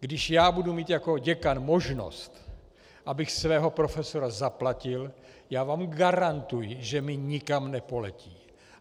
Když já budu mít jako děkan možnost, abych svého profesora zaplatil, já vám garantuji, že mi nikam nepoletí.